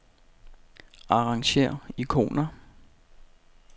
Arrangér ikoner.